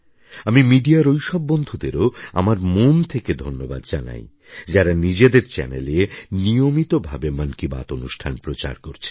আমি মিডিয়ার ওইসব বন্ধুদেরও আমার মন থেকে ধন্যবাদ জানাই যাঁরা নিজেদের চ্যানেলে নিয়মিত ভাবে মন কি বাত অনুষ্ঠান প্রচার করছেন